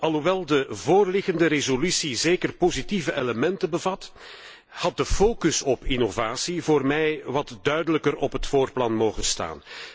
Alhoewel de voorliggende resolutie zeker positieve elementen bevat, had de focus op innovatie voor mij wat duidelijker op het voorplan mogen staan.